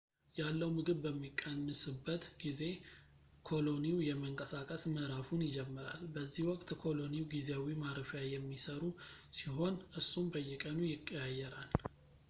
ያለው ምግብ በሚቀንስበት ጊዜ ኮሎኒው የመንቀሳቀስ ምዕራፉን ይጀምራል በዚህ ወቅት ኮሎኒው ጊዜያዊ ማረፊያ የሚሰሩ ሲሆን እሱም በየቀኑ ይቀያየራል